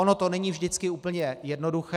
Ono to není vždycky úplně jednoduché.